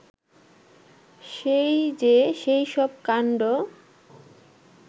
সেই যে সেইসব কাণ্ড